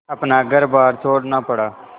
अपना घरबार छोड़ना पड़ा